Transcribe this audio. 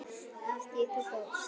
Af því þú fórst.